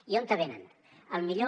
i on venen al millor